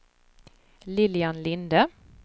Lilian Linde